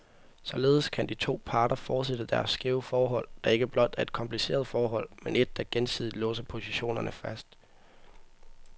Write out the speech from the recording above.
Således kan de to parter fortsætte deres skæve forhold, der ikke blot er et kompliceret forhold, men et, der gensidigt låser positionerne fast.